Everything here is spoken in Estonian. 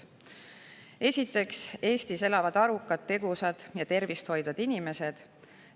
Esiteks, Eestis elavad arukad, tegusad ja tervist hoidvad inimesed.